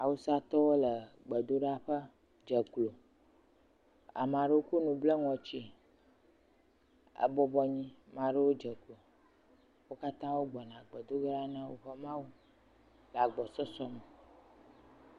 Awusatɔwo le gbedoɖaƒe dze klo, ame aɖewo kɔ nu bla ŋɔtie, ebɔbɔ nɔ anyi ame aɖewo dze klo, wo katã wo gbɔna gbedo ge ɖa na woƒe Mawu